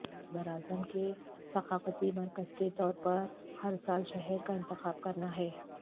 یہ براعظم کے ثقافتی مرکز کے طور پر ہر سال شہر کا انتخاب کرنا ہے